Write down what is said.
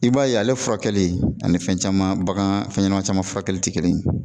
I b'a ye ale furakɛli ani fɛn caman bagan fɛn ɲɛnama caman furakɛli tɛ kelen ye.